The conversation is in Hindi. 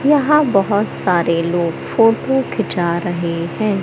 यहां बहुत सारे लोग फोटो खींचा रहे हैं।